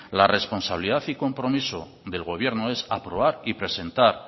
la responsabilidad y compromiso del gobierno es aprobar y presentar